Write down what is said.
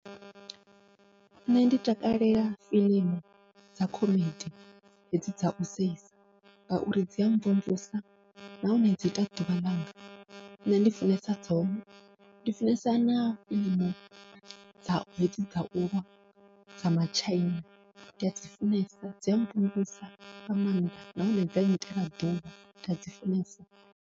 Nṋe ndi takalela fiḽimu dza khomedi hedzi dzau seisa, ngauri dzia mvumvusa nahone dzi ita ḓuvha ḽanga nṋe ndi funesa dzone, ndi funesa na hedzi dza ulwa dza matshaina nda dzi funesa dzia mvumvusa nga maanḓa nahone dza nnyitela ḓuvha nda dzi funesa.